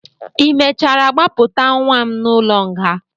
ị mechara gbapụta nwa m n'ụlọ nga?